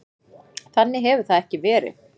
Þannig hefur það ekki verið.